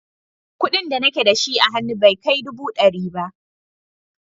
Kuɗin da nake da shi a hannu bai kai dubu ɗari ba.